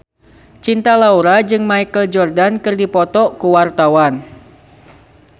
Cinta Laura jeung Michael Jordan keur dipoto ku wartawan